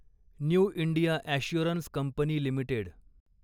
new India assurance company limited